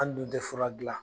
An dun tɛ fura gilan